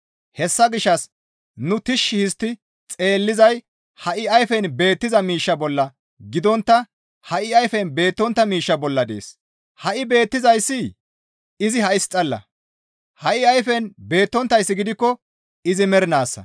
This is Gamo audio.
Hessa gishshas nu tishshi histti xeellizay ha7i ayfen beettiza miishsha bolla gidontta ha7i ayfen beettontta miishsha bolla dees; ha7i beettizayssi izi ha7is xalla; ha7i ayfen beettonttayssi gidikko izi mernaassa.